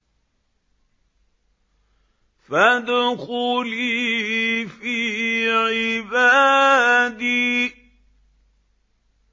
فَادْخُلِي فِي عِبَادِي